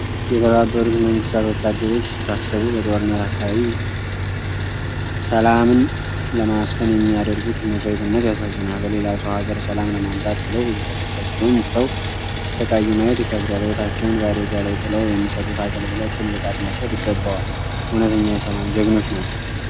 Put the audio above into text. የተባበሩት መንግስታት ወታደሮች ሲታሰቡ በጦርነት አካባቢ ሰላምን ለማስፈን የሚያደርጉት መስዋዕትነት ያሳዝናል። በሌላ ሰው ሀገር ሰላም ለማምጣት ብለው ቤተሰባቸውን ትተው ሲሰቃዩ ማየት ይከብዳል። ሕይወታቸውን በአደጋ ላይ ጥለው የሚሰጡት አገልግሎት ትልቅ አድናቆት ይገባዋል። እውነተኛ የሰላም ጀግኖች ናቸው!